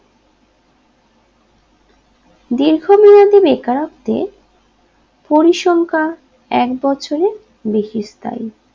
দীর্ঘমেয়াদী বেকারত্বে পরিসংখ্যা একবছরে বেশি স্থায়ী